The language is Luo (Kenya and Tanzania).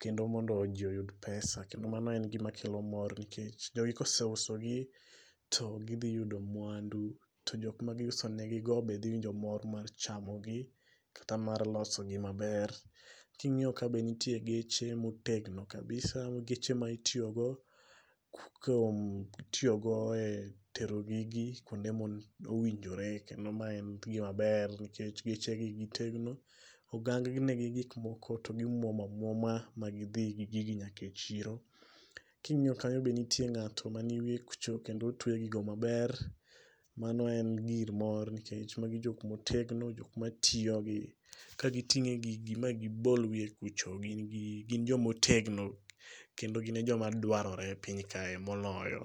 kendo mondo ji oyud pesa kendo mano en gima kelo mor nikech jogi ka oseusogi to gidhi yudo mwandu to jok ma giuso negigo be dhi winjo mor mar chamogi kata mar losogi maber. Ka ing'iyo ka bende nitie geche motegno kabisa geche ma itiyogo kuom itiyogo e tero gigi kuonde ma owinjore kendo mae en gima ber nikech gechegi gitegno ogang negi gik moko to gimuomo amuoma magidhi gi gigi nyaka e chiro king'iyo kanyo be nitie ng'ato mantie ewiye kucho kendo otueyo gigo maber, mano en gir mor nikech magi jok motegno jok matiyogi kating' gigi ma gibol wiye kucho gin joma otegno kendo gin e joma dwarore e piny kae moloyo.